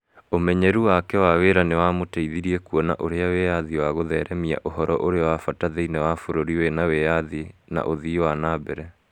Ũmenyeru wake wa wĩra nĩ wamũteithirie kuona ũrĩa wĩyathi wa gũtheremia ũhoro ũrĩ wa bata thĩinĩ wa bũrũri wĩ na wĩyathi na ũthii wa na mbere.